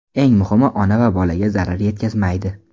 Eng muhimi, ona va bolaga zarar yetkazmaydi.